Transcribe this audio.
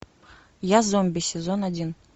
я зомби сезон один